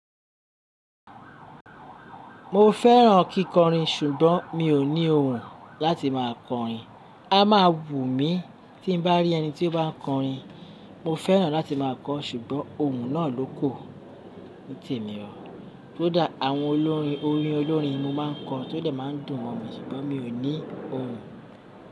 Mo fẹ́ràn kíkọrin ṣùgbọ́n mi ò ní ohùn láti máa kọrin. A máa wù mí tí n bá rí ẹni tí ó bá ń kọrin. Mo fẹ́ràn láti máa kọ ṣùgbọ́n ohùn náà ló kù ní tèmi o. Kódà àwọn olórin orin olórin mo máa ń kọ, tó dè máa ń dùn mọ̀ mí ṣùgbọ́n mi ò ní ohùn.